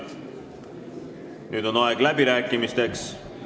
Nüüd on aeg läbirääkimisteks.